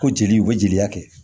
Ko jeliw u bɛ jeli kɛ